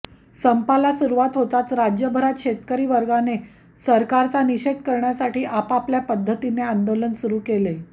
संपाला सुरुवात होताच राज्यभरात शेतकरी वर्गाने सरकारचा निषेध करण्यासाठी आपापल्या पद्धतीने आंदोलन सुरू केले